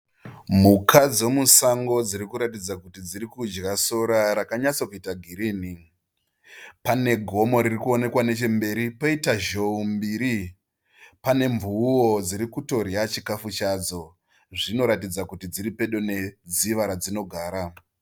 Mhuka dzemusango dziri kuratidza kuti dzirikudya sora rakanyatso kuita girini. Pane gomo ririkuonekwa nechemberi, poita Zhou mbiri, pane Mvuuwo dziri kutodya chikafu chadzo zvinotaridza kuti dziri pedo nedziva radzinogara.